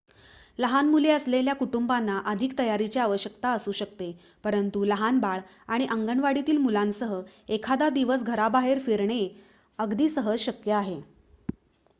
लहान मुले असलेल्या कुटुंबांना अधिक तयारीची आवश्यकता असू शकते परंतु लहान बाळ आणि अंगणवाडीतील मुलांसह एखादा दिवस घराबाहेर फिरणे अगदी सहज शक्य आहे